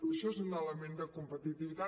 això és un element de competitivitat